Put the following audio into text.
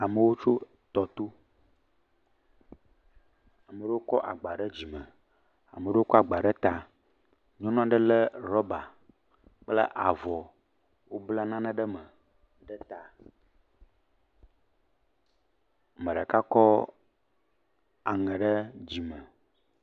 Amewo tso tɔto. Ame ɖewo kɔ agba ɖe dzime. Ame ɖewo kɔ agba ɖe ta. Nyɔnu aɖe kɔ rɔba kple avɔ, wobla nane ɖe eme ɖe ta. Me ɖeka kɔ aŋɛ ɖe dzime.